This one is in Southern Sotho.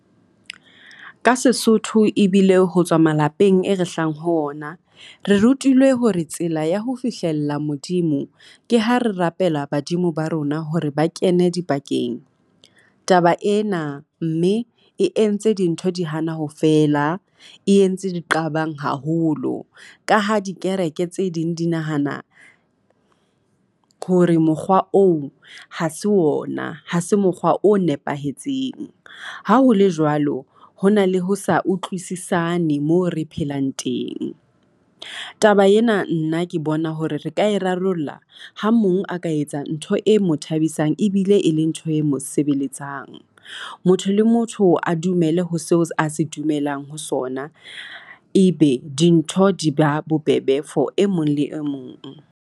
Ka Sesotho e bile ho tswa malapeng e re hlahang ho ona, re rutilwe hore tsela ya ho fihlella Modimo, ke ha re rapela badimo ba rona hore ba kene dipakeng. Taba ena mme e entse dintho di hana ho fela e entse diqabang haholo ka ha dikereke tse ding di nahana hore mokgwa oo ha se wona ha se mokgwa o nepahetseng. Ha ho le jwalo ho na le ho sa utlwisisane moo re phelang teng. Taba ena nna ke bona hore re ka e rarollla ha mong a ka etsa ntho e mo thabisang ebile e le ntho e mo sebeletsang. Motho le motho a dumele ho seo a se dumelang ho sona. Ebe dintho di ba bobebe for e mong le e mong.